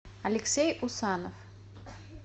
алексей усанов